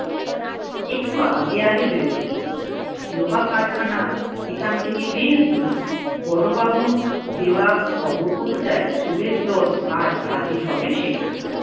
একটু আগে আগে বেরোতে হবে। লোহা কারখানা এখন থেকে বেশ দূরে। বড়োবাবুর দেওয়া খবর অনুযায়ী চোরের দল আজ হাজির হবে সেখানে।